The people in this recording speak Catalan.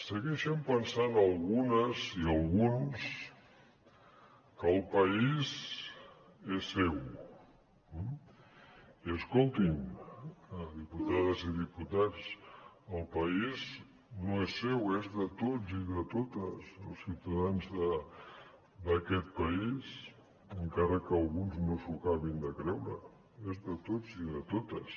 segueixen pensant algunes i alguns que el país és seu i escoltin diputades i diputats el país no és seu és de tots i de totes els ciutadans d’aquest país encara que alguns no s’ho acabin de creure és de tots i de totes